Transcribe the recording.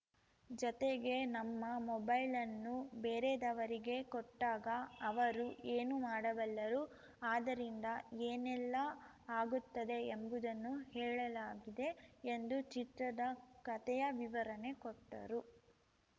ಜತೆಗೆ ನಮ್ಮ ಮೊಬೈಲ್‌ನ್ನು ಬೇರೆದವರಿಗೆ ಕೊಟ್ಟಾಗ ಅವರು ಏನು ಮಾಡಬಲ್ಲರು ಆದರಿಂದ ಏನೆಲ್ಲಾ ಆಗುತ್ತದೆ ಎಂಬುದನ್ನು ಹೇಳಲಾಗಿದೆ ಎಂದು ಚಿತ್ರದ ಕತೆಯ ವಿವರಣೆ ಕೊಟ್ಟರು